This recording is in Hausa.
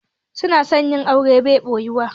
Sunan 'yan Arewa bai ɓoyuwa